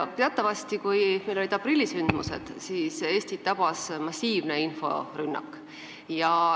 Kui meil omal ajal olid need aprillisündmused, siis tabas Eestit massiivne inforünnak.